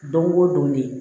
Don go don ne